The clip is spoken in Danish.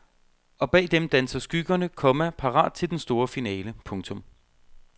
Og bag dem danser skyggerne, komma parat til den store finale. punktum